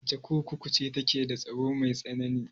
Wace kurkuku ce take da tsaro mai tsanani?